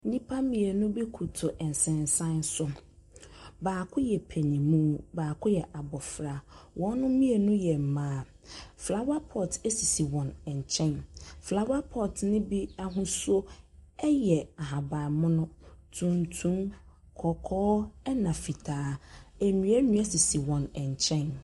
Nnipa mmienu bi kotow nsensan so. Baako yɛ panyinmu, baako yɛ abofra. Wɔn mmienu yɛ mmaa. Flawa pɔt esisi wɔn nkyɛn. Flawa pɔt ne bi ahosuo ɛyɛ ahabanmono, tuntum, kɔkɔɔ ɛna fitaa. Nnua nua sisi wɔn nkyɛn.